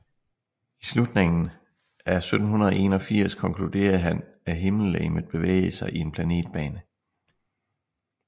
I slutningen af 1781 konkluderede han at himmellegemet bevægede sig i en planetbane